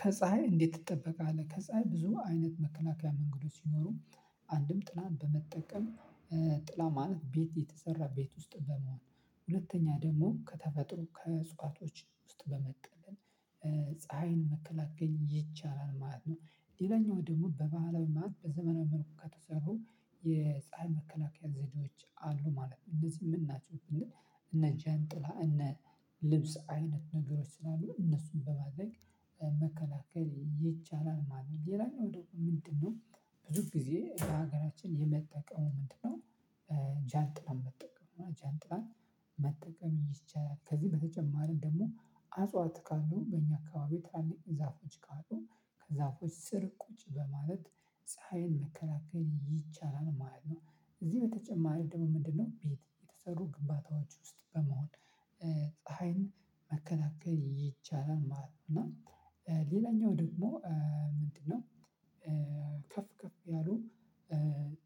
ከፀሀይ እንዴት ትጠበቃለህ? ከፀሀይ ብዙ አይነት መከላከያ መንገዶች ሲኖሩ አንድም ጥላም በመጠቀም ጥላ ማለት ቤት የተሰራ ቤት ውስጥ በመሆን ሁለተኛ ደግሞ ከተፈጥሮ ከእጽዋቶች ውስጥ በመጠለል ፀሀይን መከላከል ይቻላል ማለት ነው። ሌላኛው ደግሞ በባህላዊ ማለት በዘመናዊ መልኩ ከተሰሩ የፀሀይ መከላከያ ዘዴዎች አሉ ማለት ነው። እነዚህ ምንናቸውን ስልን? እነ ጃንጥላ እነ ልብስ አይነት ነገሮች ስላሉ እነሱን በማድረግ መከላከል ይቻላል ማለት ነው። ሌላኛው ደግሞ ምንድነው? ብዙ ጊዜ የሀገራችን የመጠቀሙ ምንድነው? ጃንጥላን መጠቀም ጃንጥላን መጠቀም ይቻላል። ከዚህ በተጨማሪ ደግሞ አጽዋት ካሉ በእኛ አካባቢ ታላቅ ዛፎች ካሉ ከዛፎች ስር ቁጭ በማለት ፀሀይን መከላከል ይቻላል ማለት ነው። እዚህ በተጨማሪ ደግሞ ምንድነው? ቤት የተሰሩ ግንባታዎች ውስጥ በመሆን ፀሀይን መከላከል ይቻላል ማለት ነው። እና ሌላኛው ደግሞ ምንድነው? ከፍ ከፍ ያሉ